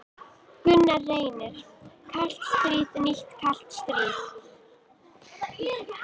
Gunnar Reynir: Kalt stríð, nýtt kalt stríð?